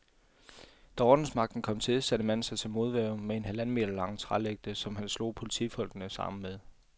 Da ordensmagten kom til, satte manden sig til modværge med en halvanden meter lang trælægte, som han slog politifolkenes arme med.